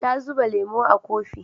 Ta zuba lemo a kofi